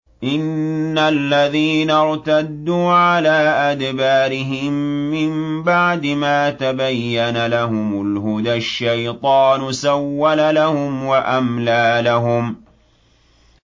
إِنَّ الَّذِينَ ارْتَدُّوا عَلَىٰ أَدْبَارِهِم مِّن بَعْدِ مَا تَبَيَّنَ لَهُمُ الْهُدَى ۙ الشَّيْطَانُ سَوَّلَ لَهُمْ وَأَمْلَىٰ لَهُمْ